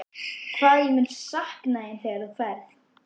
Hvað ég mun sakna þín þegar þú ferð.